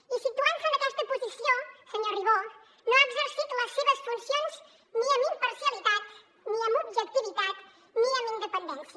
i situant se en aquesta posició senyor ribó no ha exercit les seves funcions ni amb imparcialitat ni amb objectivitat ni amb independència